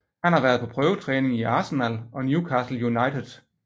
Han har været på prøvetræning i Arsenal og Newcastle United